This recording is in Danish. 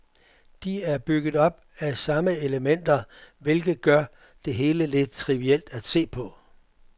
De er bygget op af samme elementer, hvilket gør det hele lidt trivielt at se på.